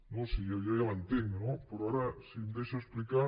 no si jo ja l’entenc no però ara si em deixa explicar